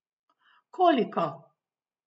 Koliko?